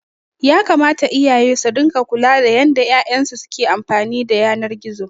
Yakamata iyaye su ringa kula da yanda 'ya'yan su ke amfani da yanar gizo.